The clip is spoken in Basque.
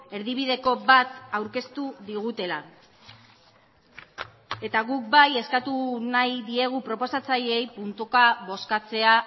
erdibideko bat aurkeztu digutela eta guk bai eskatu nahi diegu proposatzaileei puntuka bozkatzea